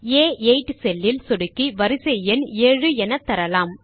ஆ8 cell இல் சொடுக்கி வரிசை எண் 7 என தரலாம்